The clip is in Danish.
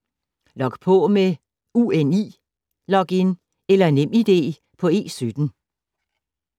Log på med UNI-login eller Nem ID på E17